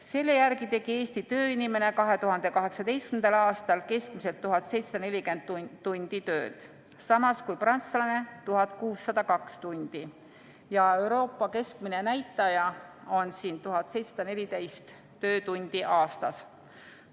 Selle järgi tegi Eesti tööinimene 2018. aastal keskmiselt 1740 tundi tööd, samas kui prantslane tegi 1602 tundi ja Euroopa keskmine näitaja on siin 1714 töötundi aastas.